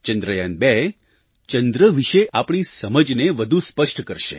ચંદ્રયાન2 ચંદ્ર વિશે આપણી સમજને વધુ સ્પષ્ટ કરશે